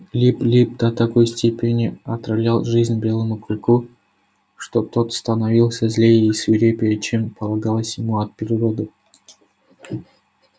лип лип до такой степени отравлял жизнь белому клыку что тот становился злее и свирепее чем это полагалось ему от природы